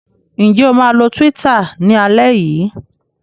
Ǹjẹ́ o máa lo Twitter ní alẹ́ yìí?